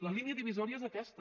la línia divisòria és aquesta